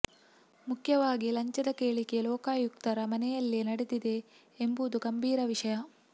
ಮುಖ್ಯವಾಗಿ ಲಂಚದ ಕೇಳಿಕೆ ಲೋಕಾಯುಕ್ತರ ಮನೆಯಲ್ಲೇ ನಡೆದಿವೆ ಎಂಬುದು ಗಂಭೀರ ವಿಷಯ